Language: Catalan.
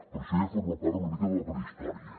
però això ja forma part una mica de la prehistòria